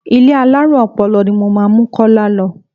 Ilé alárùn ọpọlọ ni mo máa mú Kọ́lá lọ.